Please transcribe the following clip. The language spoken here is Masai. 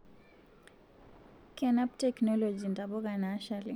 Kenap technology ntapuka nashali